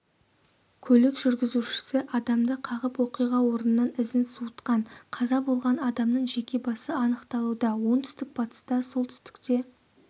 көлік жүргізушісі адамды қағып оқиға орнынан ізін суытқан қаза болған адамның жеке басы анықталуда оңтүстік-батыста солтүстікте